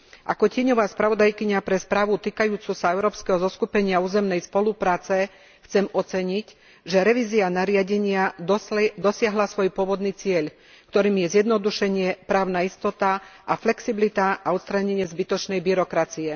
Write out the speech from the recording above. Ako tieňová spravodajkyňa pre správu týkajúcu sa Európskeho zoskupenia územnej spolupráce chcem oceniť, že revízia nariadenia dosiahla svoj pôvodný cieľ, ktorým je zjednodušenie, právna istota a flexibilita a odstránenie zbytočnej byrokracie.